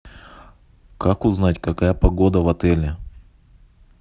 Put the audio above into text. как узнать какая погода в отеле